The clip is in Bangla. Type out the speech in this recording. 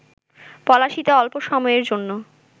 পলাশীতে অল্প সময়ের জন্য